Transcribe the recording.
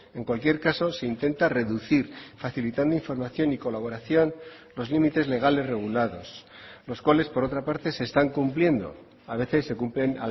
en cualquier caso se intenta reducir facilitando información y colaboración los límites legales regulados los cuales por otra parte se están cumpliendo a veces se cumplen